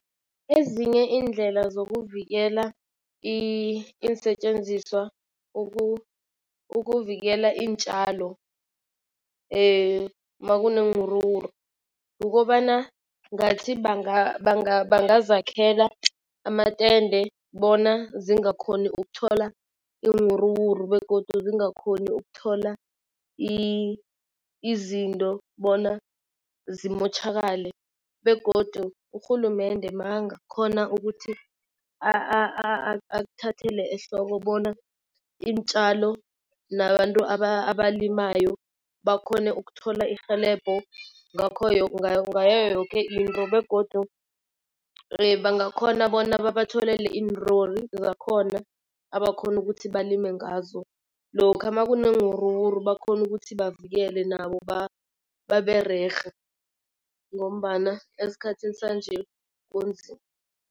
Ezinye iindlela zokuvikela iinsetjenziswa ukuvikela iintjalo makuneewuruwuru, kukobana ngathi bangazakhela amatende bona zingakhoni ukuthola iiwuruwuru begodu zingakhoni ukuthola izinto bona zimotjhakale. Begodu urhulumende makanga khona ukuthi akuthathele ehloko bona iintjalo nabantu abalimayo bakhone ukuthola irhelebho ngayo yoke into begodu bangakhona bona babatholele iinlori zakhona abakhona ukuthi balime ngazo. Lokha makuneewuruwuru bakhona ukuthi bavikele nabo babererhe ngombana esikhathini sanje kunzima.